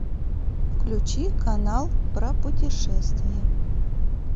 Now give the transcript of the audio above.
включи канал про путешествия